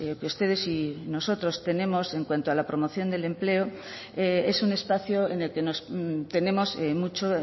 que ustedes y nosotros tenemos en cuanto a la promoción del empleo es un espacio en el que nos tenemos mucho